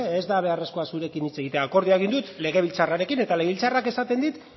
ez da beharrezkoa zurekin hitz egitea akordioa egin dut legebiltzarrarekin eta legebiltzarrak esaten dit